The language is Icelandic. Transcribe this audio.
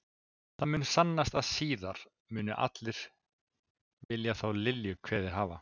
Það mun sannast að síðar munu allir vilja þá Lilju kveðið hafa.